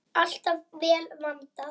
Alltaf vel vandað.